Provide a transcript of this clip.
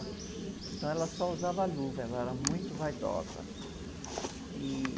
Então, ela só usava luva, ela era muito vaidosa. E...